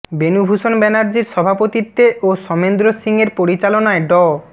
বেনু ভূষন ব্যানার্জির সভাপতিত্বে ও সমেন্দ্র সিং এর পরিচালনায় ড